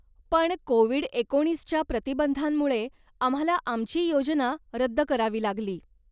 पण कोविड एकोणीस च्या प्रतिबंधांमुळे आम्हाला आमची योजना रद्द करावी लागली.